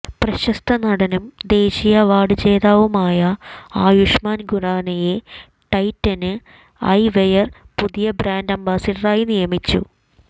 പ്രശസ്ത നടനും ദേശീയ അവാര്ഡ് ജേതാവുമായ ആയുഷ്മാന് ഖുറാനയെ ടൈറ്റന് ഐവെയര് പുതിയ ബ്രാന്ഡ് അംബാസിഡറായി നിയമിച്ചു